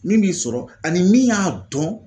Min b'i sɔrɔ ani min y'a dɔn